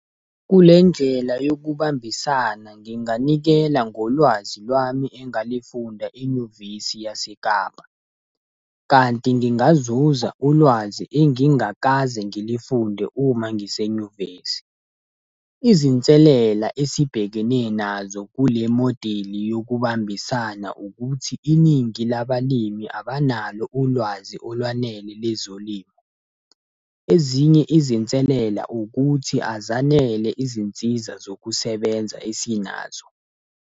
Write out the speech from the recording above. Kule ndlela yokubambisana nginganikela ngolwazi lwami engalifunda enyuvesi yaseKapa. Kanti ngingazuza ulwazi engingakaze ngilifunde uma ngisenyuvesi. Izinselela esibhekene nazo kule modeli yokubambisana ukuthi iningi labalimi abanalo ulwazi olwanele lezolimo. Ezinye izinselela ukuthi azanele izinsiza zokusebenza esinazo.